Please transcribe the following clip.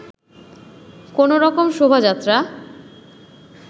কোনো রকম শোভাযাত্রা